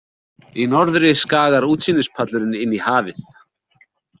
Í norðri skagar útsýnispallurinn inn í hafið.